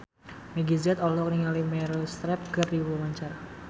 Meggie Z olohok ningali Meryl Streep keur diwawancara